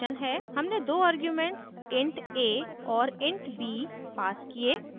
हमने दो arguments int a और int b passed किये